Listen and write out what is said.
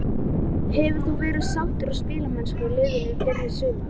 Hefur þú verið sáttur við spilamennskuna liðsins í byrjun sumars?